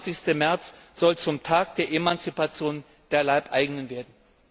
28. März soll zum Tag der Emanzipation der Leibeigenen werden!